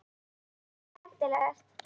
En hvað er skemmtilegast?